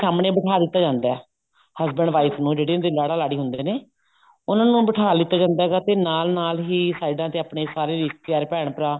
ਸਾਹਮਣੇ ਬਿਠਾ ਦਿੱਤਾ ਜਾਂਦਾ husband wife ਨੂੰ ਜਿਹੜੇ ਕੀ ਉਹ ਲਾੜਾ ਲਾੜੀ ਹੁੰਦੇ ਨੇ ਉਹਨਾ ਨੂੰ ਬਿਠਾ ਲੀਤਾ ਜਾਂਦਾ ਹੈ ਤੇ ਨਾਲ ਨਾਲ ਹੀ ਸਾਈਡਾ ਤੇ ਆਪਨੇ ਸਾਰੇ ਰਿਸ਼ਤੇਦਾਰ ਭੈਣ ਭਰਾ